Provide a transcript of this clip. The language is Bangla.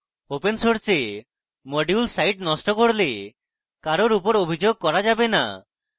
open সোর্সে module site note করলে কারোর উপর অভিযোগ করা যাবে no